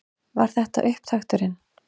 Var þetta upptakturinn?